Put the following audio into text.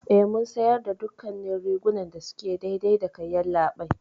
Eh, Mun siyarda dukkannin rigunan da suke daidai dakai, yallaɓai.